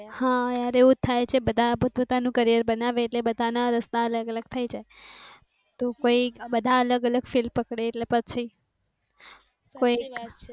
હમ એવું થાય બધા પોત પોતાનુ career બનાવે ઍટલે બધા ના રસ્તાઑ અલગ અલગ થઈ જાય બધા અલગ field પકડે ઍટલે પછી